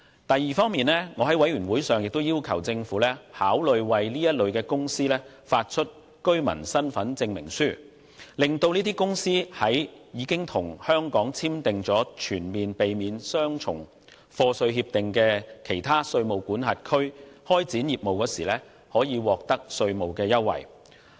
第二方面，我在法案委員會會議上，要求政府考慮為此類公司發出居民身份證明書，讓這些公司在已經與香港簽訂全面性避免雙重課稅協定的其他稅務管轄區開展業務時可以獲得稅務優惠。